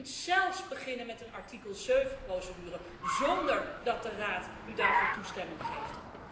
Ja, u kunt zelfs beginnen met een artikel 7 procedure zonder dat de Raad u daarvoor toestemming geeft.